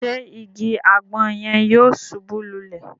Ṣe ìgi agbon yẹn yóò ṣubu lulẹ?